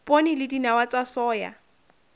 poone le dinawa tsa soya